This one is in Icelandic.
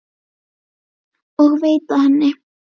og veita henni.